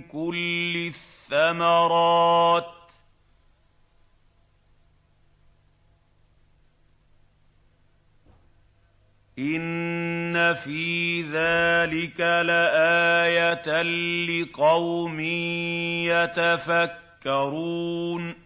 كُلِّ الثَّمَرَاتِ ۗ إِنَّ فِي ذَٰلِكَ لَآيَةً لِّقَوْمٍ يَتَفَكَّرُونَ